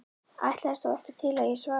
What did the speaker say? Ætlaðist þó ekki til að ég svaraði.